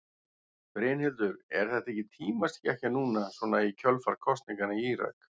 Brynhildur: Er þetta ekki tímaskekkja núna svona í kjölfar kosninganna í Írak?